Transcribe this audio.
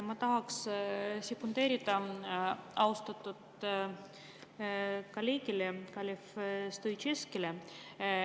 Ma tahaksin sekundeerida austatud kolleegile Kalev Stoicescule.